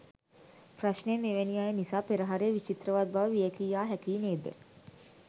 ප්‍රශ්නය මෙවැනි අය නිසා පෙරහරේ විචිත්‍රවත් බව වියැකී යා හැකියි නේද?